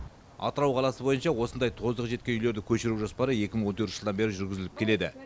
атырау қаласы бойынша осындай тозығы жеткен үйлерді көшіру жоспары екі мың он төртінші жылдан бері жүргізіліп келеді